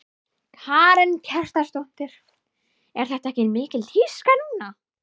Karen Kjartansdóttir: Er þetta ekki mikil tíska núna?